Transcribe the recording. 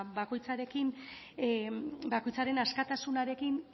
bakoitzaren askatasunarekin